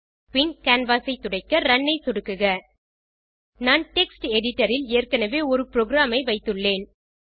பின் canvas ஐ துடைக்க run ஐ சொடுக்குக நான் டெக்ஸ்ட் எடிட்டர் ல் ஏற்கனவே ஒரு புரோகிராம் ஐ வைத்துள்ளேன்